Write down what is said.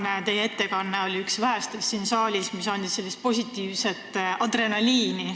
Teie tänane ettekanne on üks vähestest siin saalis kuuldud ettekannetest, mis annab positiivset adrenaliini.